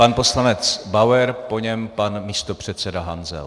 Pan poslanec Bauer, po něm pan místopředseda Hanzel.